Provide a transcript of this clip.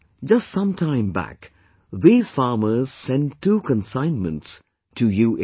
Just some time back, these farmers sent two consignments to UAE